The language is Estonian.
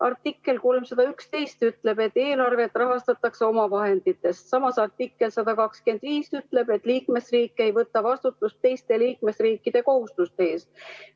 Artikkel 311 ütleb, et eelarvet rahastatakse omavahenditest, samas artikkel 125 ütleb, et liikmesriik ei võta vastutust teiste liikmesriikide kohustuste eest.